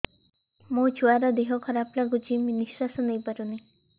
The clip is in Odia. ମୋ ଛୁଆର ଦିହ ଖରାପ ଲାଗୁଚି ନିଃଶ୍ବାସ ନେଇ ପାରୁନି